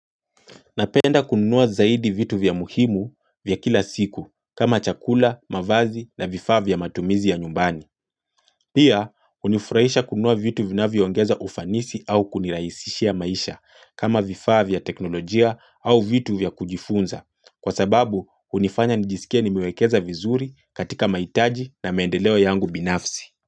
Napenda kununua zaidi vitu vya muhimu vya kila siku kama chakula, mavazi na vifaa vya matumizi ya nyumbani. Pia, unifurahisha kunua vitu vina viongeza ufanisi au kuniraisishia maisha kama vifavya teknolojia au vitu vya kujifunza. Kwa sababu, unifanya nijisikia ni miwekeza vizuri katika maitaji na maendeleo yangu binafsi.